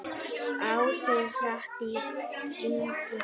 Ásinn hratt í hringi fer.